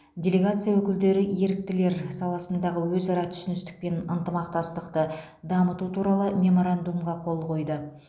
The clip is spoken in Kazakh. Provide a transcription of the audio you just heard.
делегация өкілдері еріктілер саласындағы өзара түсіністік пен ынтымақтастықты дамыту туралы меморандумға қол қойды